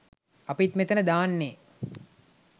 අපිත් මෙතන දාන්නේ